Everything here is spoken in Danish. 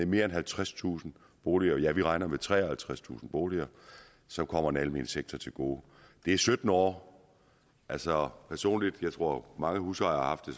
mere end halvtredstusind boliger vi regner med treoghalvtredstusind boliger så kommer det den almene sektor til gode det er sytten år altså personligt jeg tror mange husejere har haft det